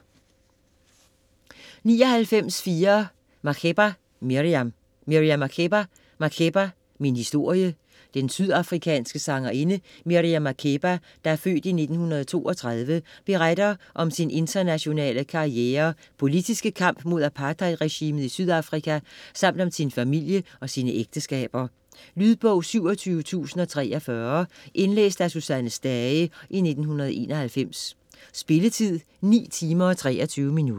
99.4 Makeba, Miriam Makeba, Miriam: Makeba - min historie Den sydafrikanske sangerinde Miriam Makeba (f. 1932) beretter om sin internationale karriere, politiske kamp mod apartheidregimet i Sydafrika samt om sin familie og sine ægteskaber. Lydbog 27043 Indlæst af Susanne Stage, 1991. Spilletid: 9 timer, 23 minutter.